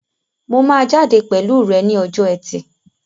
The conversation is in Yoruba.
Mo máa jáde pẹ̀lú rẹ ní ọjọ́ ẹtì